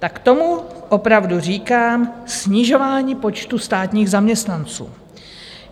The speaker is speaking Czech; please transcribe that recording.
Tak tomu opravdu říkám snižování počtu státních zaměstnanců!